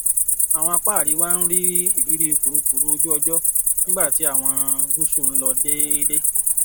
àwọn apa àríwá ń ní ìrírí kùrukùru ojú ọjọ nígbà tí àwọn gúúsù ń lọ déédé